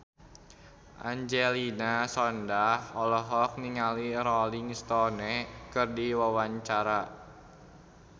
Angelina Sondakh olohok ningali Rolling Stone keur diwawancara